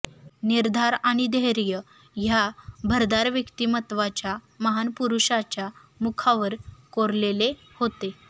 निर्धार आणि धैर्य ह्या भरदार व्यक्तीमत्वाच्या महान पुरूषाच्या मुखावर कोरलेले होते